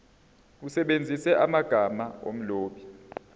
usebenzise amagama omlobi